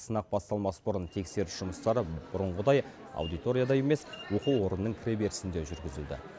сынақ басталмас бұрын тексеріс жұмыстары бұрынғыдай аудиторияда емес оқу орнының кіреберісінде жүргізілді